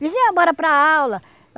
Vizinha, bora para aula.